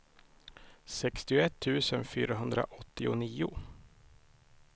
sextioett tusen fyrahundraåttionio